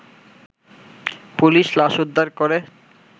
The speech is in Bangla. পুলিশ লাশউদ্ধার করে